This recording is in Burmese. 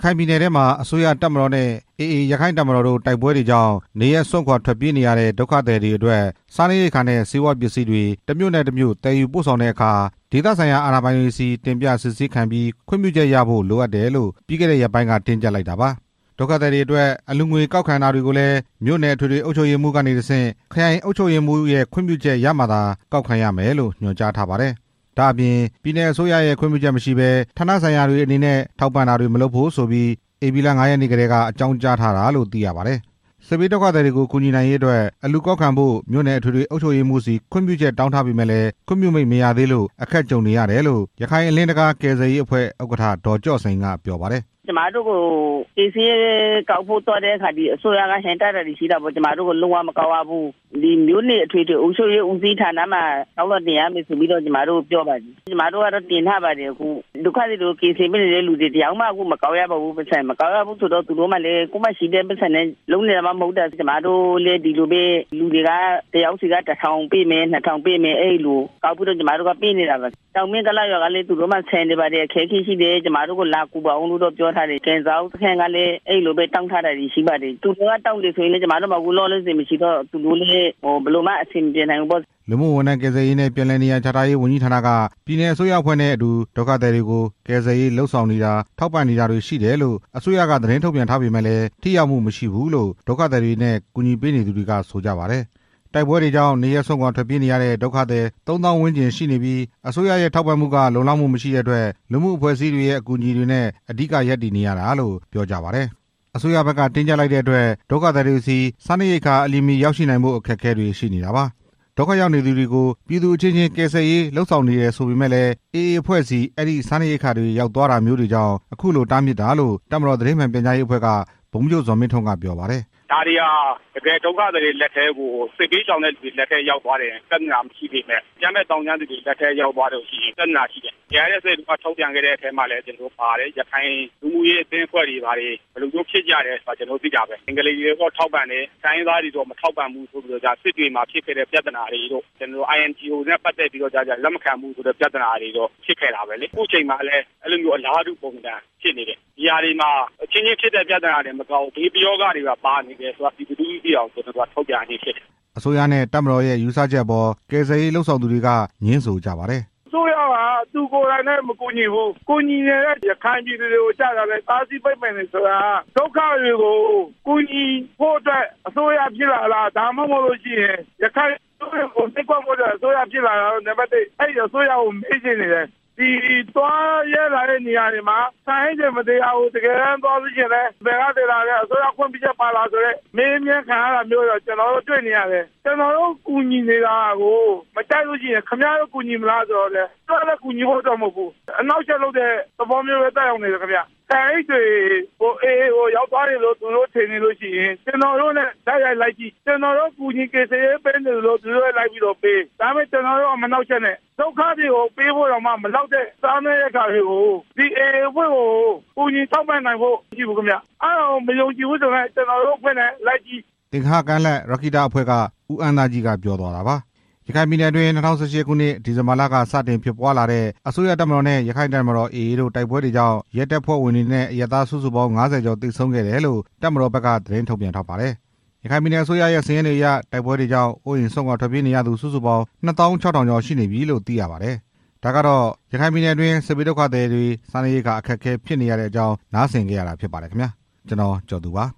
ခိုင်ပြည်နယ်ထဲမှာ အစိုးရတပ်မတော်နဲ့ AA ရက္ခိုင့်တပ်မတော်တို့ရဲ့ တိုက်ပွဲတွေကြောင့် နေရပ်စွန့်ခွာထွက်ပြေးနေရတဲ့ ဒုက္ခသည်တွေအတွက် စားနပ်ရိက္ခာနဲ့ ဆေးဝါးပစ္စည်းတွေ တစ်မြို့နဲ့ တစ်မြို့ သယ်ယူပို့ဆောင်တဲ့အခါ ဒေသဆိုင်ရာအာဏာပိုင်တွေဆီ တင်ပြစစ်ဆေးခံပြီး ခွင့်ပြုချက်ရယူဖို့ လိုတယ်လို့ ပြီးခဲ့တဲ့ရက်ပိုင်းက တင်းကျပ်လိုက်တာပါ။ ဒုက္ခသည်တွေအတွက် အလှူငွေကောက်ခံတာတွေကိုလည်း မြို့နယ်အထွေထွေအုပ်ချုပ်ရေးမှူးကနေ တစ်ဆင့် ခရိုင်အုပ်ချုပ်ရေးမှူး ခွင့်ပြုချက်ရမှသာ ကောက်ခံရမယ်လို့ ညွှန်ကြားထားပါတယ်။ ဒါ့အပြင် ပြည်နယ်အစိုးရရဲ့ ခွင့်ပြုချက်မရှိဘဲ ဌာနဆိုင်ရာတွေအနေနဲ့ ထောက်ပံ့တာတွေ မလုပ်ဖို့ဆိုပြီး ဧပြီ ၅ ရက်နေ့ကတည်းက အကြောင်းကြားထားတာလို့ သိရပါတယ်။ စစ်ဘေးဒုက္ခသည်တွေကို ကူညီနိုင်ရေးအတွက် အလှူကောက်ခံဖို့ မြို့နယ်အထွေထွေ အုပ်ချုပ်ရေးမှုးဆီ ခွင့်ပြုချက်တောင်းထားပေမယ့် ခွင့်မပြုသေးလို့ အခက်အခဲကြုံနေရတယ်လို့ ရခိုင်အလင်းတံခါးကယ်ဆယ်ရေးအဖွဲ့ ဥက္ကဋ္ဌ ဒေါ်ကျော့စိန် က ပြောပါတယ်။ "ကယ်ဆယ်ရေးသွားဖို့ အလှူကောက်ခံတာကို အစိုးရက မကောက်ဖို့တားပါတယ်၊ မြို့နယ်အထွေထွေ အုပ်ချုပ်ရေးဦးစီးဌာနမှာ လျှောက်လွှာတင်ရမယ်လို့ ပြောပါတယ်၊ ကျွန်မတို့ကလည်း တင်ထားပါတယ်၊ ကယ်ဆယ်ရေးအဖွဲ့တွေ အကုန်လုံး မကောက်ရပါဘူး၊ မကောက်ရဘူးဆိုတော့ ကိုယ့်မှာရှိတဲ့ပိုက်ဆံနဲ့ လုပ်နေတာမှမဟုတ်တာ၊ လူတွေက တစ်ယောက်ဆီက တစ်ထောင်ပေး နှစ်ထောင်ပေးနဲ့ ကောက်ပြီး တော့ ပေးနေတာပါ၊ တောင်မင်းကုလားရွာမှာ လာပြီးတော့ ကူညီပေးပါ ပြောနေတယ်။ ကန်ဇောက်စခန်း ကလည်း အဲဒီလိုမျိုးပြောပါတယ်၊ သူတို့ကတောင်းပေမယ့်လည်း ကျွန်မတို့မှာမရှိတော့ ဘယ်လိုမှ အဆင်မပြေနိုင်ဘူး" လူမှုဝန်ထမ်းကယ်ဆယ်ရေးနဲ့ ပြန်လည်နေရာချထားရေး ဝန်ကြီးဌာနက ပြည်နယ်အစိုးရအဖွဲ့နဲ့ အတူဒုက္ခသည်တွေကို ကယ်ဆယ်ရေးလုပ်ဆောင်နေတာ ထောက်ပံ့နေတာတွေရှိတယ်လို့ အစိုးရက သတင်းထုတ်ပြန်ထားပေမယ့်လည်း ထိရောက်မှုမရှိဘူးလို့ ဒုက္ခသည်တွေနဲ့ အကူအညီပေးနေသူတွေက ဆိုကြပါတယ်။ တိုက်ပွဲတွေကြောင့် နေရပ်စွန့်ခွာထွက်ပြေးနေရတဲ့ ဒုက္ခသည် ၃ သောင်းဝန်းကျင် ရှိနေပြီဖြစ်ပြီး အစိုးရရဲ့ ထောက်ပံ့မှုက လုံလောက်မှု မရှိတဲ့အတွက် လူမှုအဖွဲ့အစည်းတွေရဲ့ အကူအညီတွေနဲ့ အဓိက ရပ်တည်နေတာလို့ ပြောကြပါတယ်။ အစိုးရဘက်က တင်းကျပ်လိုက်တဲ့အတွက် ဒုက္ခသည်တွေဆီ စားနပ်ရိက္ခာ အလျင်မီ ရောက်ရှိနိုင်ဖို့ အခက်အခဲတွေ ရှိနေတာပါ။ ဒုက္ခရောက်နေသူတွေကို ပြည်သူအချင်းချင်း ကယ်ဆယ်ရေး လုပ်ဆောင်တယ်ဆိုပေမယ့်လည်း AA အဖွဲ့ဆီ အဲဒီစားနပ်ရိက္ခာတွေ ရောက်သွားတာမျိုးတွေကြောင့် ခုလိုတားမြစ်တာလို့ တပ်မတော်သတင်းမှန်ပြန်ကြားရေးအဖွဲ့က ဗိုလ်မှူးချုပ် ဇော်မင်းထွန်းက ပြောပါတယ်။ "ဒါတွေဟာ တစ်ကယ်ဒုက္ခသည်တွေ လက်ထဲကို စစ်ဘေးရှောင် ဒုက္ခသည်တွေလက်ထဲကို ပြဿနာ မရှိပေမယ့် အကြမ်းဖက်သောင်းကျန်းသူတွေလက်ထဲ ရောက်သွားရင် ပြဿနာရှိတယ်၊ ARSA နဲ့ထုတ် ပြန်ချက်ထဲမှာလည်း ပါတယ်။ ရခိုင်လူမှုရေးအသင်းအဖွဲ့တွေ ဒီလိုမျိုးဖြစ်ကြတယ်ဆိုတာ ကျွန်တော်တို့ သိတာပဲ ဘင်္ဂါလီတွေတော့ ထောက်ပံ့တယ်။ တိုင်းရင်းသားတွေတော့ မထောက်ပံ့ဘူးဆိုတဲ့ စစ်တွေမှာ ဖြစ်ခဲ့တဲ့ ပြဿနာတွေတို့ INGO နဲ့ပတ်သက်ပြီးတော့ လက်မခံဘူးတို့ ဖြစ်ခဲ့တာပဲလေ၊ ခုချိန်မှာလည်း အလားတူ ပုံသဏ္ဍာန်မျိုးဖြစ်နေတယ်၊ ဒီဟာတွေမှာ အချင်းချင်းဖြစ်တဲ့ ပြဿနာတွေတင်မဟုတ်ဘူး ဘေးပရောဂတွေပါ ပါနေတယ်ဆိုတာကို ပြည်သူလူထုသိအောင် ထုတ်ပြန်ရခြင်းဖြစ်တယ်" အစိုးရ နဲ့ တပ်မတော်ရဲ့ ယူဆချက်အပေါ် ကယ်ဆယ်ရေးလုပ်ဆောင်သူတွေက ငြင်းဆိုကြပါတယ်။ "အစိုးရက သူကိုယ်တိုင်လည်း မကူညီဘူး၊ ကူညီနေတဲ့ ရခိုင်ပြည်သူတွေကို တားဆီးပိတ်ပင်နေတယ် ဆိုတာက ဒုက္ခသည်တွေကို ကူညီဖို့ အစိုးရဖြစ်လာတာလား။ ဒါမှမဟုတ်ရင် ရခိုင်ပြည်သူတွေကို နှိပ်ကွပ်ဖို့ဖြစ်လာတာလား။ အဲဒီအစိုးရကိုမေးချင်နေတယ်၊ သွားလာတဲ့နေရာတွေမှာ ဆန်အိတ်တွေမသယ်ရဘူး။ တစ်ကယ်တမ်းသွားရင်လည်း ဘယ်ကသယ်လာတာလည်း အစိုးရခွင့်ပြုချက်ပါလား အမေးမြန်းခံနေရတယ်။ ကျွန်တော်တို့ကူညီနေတာကို မကြိုက်လို့ ခင်ဗျားတို့ ကူညီမလားဆိုတော့လည်း သူတို့လည်း ကူညီဖို့မဟုတ်ဘူး။ ဆန်အိတ်တွေ AA ကို ရောက်သွားတယ်လို့ သူတို့ထင်နေတယ်ဆိုရင် ကျွန်တော်တို့နဲ့ တိုက်ရိုက်လိုက်ကြည့်၊ ကျွန်တော်တို့ ကူညီကယ်ဆယ်ရေးပေးနေသလို သူတို့လည်းလုပ်။ ဒါပေမဲ့ မနှောင့်ယှက်နဲ့ ဒုက္ခသည်တွေကိုပေးဖို့မလောက်တာ ဒီစားနပ်ရိက္ခာတွေ AA အဖွဲ့ကို ကူညီထောက်ပံ့နိုင်ဖို့ မရှိဘူးခင်ဗျ အဲဒါကို မယုံကြည်ဘူးဆိုရင် ကျွန်တော်တို့နဲ့လိုက်ကြည့်" သင်္ဂဟကမ်းလက် ရက္ခိတအဖွဲ့က ကိုအမ်းသားကြီး ပြောသွားတာပါ။ ရခိုင်ပြည်နယ်အတွင်း ၂၀၁၈ ခုနှစ် ဒီဇင်ဘာလက စတင်ဖြစ်ပွားလာတဲ့ အစိုးရတပ်မတော်နဲ့ ရက္ခိုင့်တပ်မတော် AA တို့ တိုက်ပွဲတွေကြောင့် ရဲတပ်ဖွဲ့ဝင်တွေနဲ့ အရပ်သားစုစုပေါင်း ၅၀ ကျော်သေဆုံးခဲ့တယ်လို့ တပ်မတော်ဘက်က ထုတ်ပြန်ထားပါတယ်။ ရခိုင်ပြည်နယ်အစိုးရရဲ့ စာရင်းတွေအရ တိုက်ပွဲတွေကြောင့် အိုးအိမ်စွန့်ခွာထွက်ပြေးရသူစုစုပေါင်း ၂ သောင်း ၆ ထောင်ကျော်နေပြီလို့ သိရပါတယ်။ ဒါကတော့ ရခိုင်ပြည်နယ်အတွင်း စစ်ဘေးဒုက္ခသည်တွေ စားနပ်ရိက္ခာ အခက်အခဲဖြစ်နေတဲ့အကြောင်း နားဆင်ခဲ့ရတာဖြစ်ပါတယ်။ ကျွန်တော် ကျော်သူ ပါ။